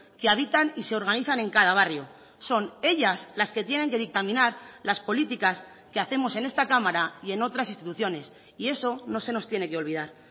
que habitan y se organizan en cada barrio son ellas las que tienen que dictaminar las políticas que hacemos en esta cámara y en otras instituciones y eso no se nos tiene que olvidar